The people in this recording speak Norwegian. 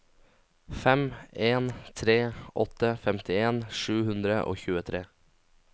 fem en tre åtte femtien sju hundre og tjuetre